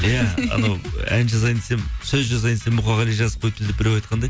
иә анау ән жазайын десем сөз жазайын десем мұқағали жазып қойыпты деп біреу айтқандай